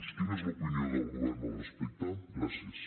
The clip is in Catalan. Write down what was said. quina és l’opinió del govern al respecte gràcies